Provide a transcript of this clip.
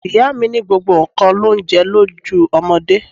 Ìyá mi ní gbogbo nǹkan l'oúnje lójú ọmọdé.